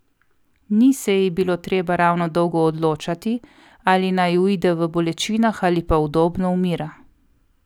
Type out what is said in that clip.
Ni se ji bilo treba ravno dolgo odločati, ali naj uide v bolečinah ali pa udobno umira.